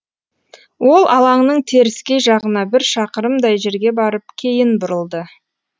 ол алаңның теріскей жағына бір шақырымдай жерге барып кейін бұрылды